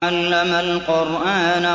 عَلَّمَ الْقُرْآنَ